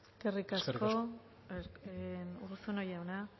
eskerrik asko eskerrik asko urruzuno jauna